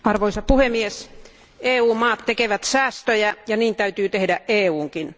Arvoisa puhemies, EU maat tekevät säästöjä ja niin täytyy tehdä EUnkin.